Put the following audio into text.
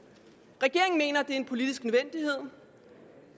regeringen er en politisk nødvendighed